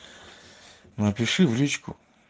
напиши в личку